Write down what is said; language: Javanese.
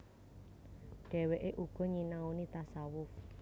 Dhèwèké uga nyinaoni tasawuf